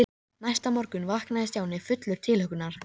Steinunn, sagði hann með þjósti við konuna.